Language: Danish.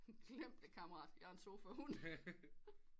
Glem det kammerat jeg er en sofahund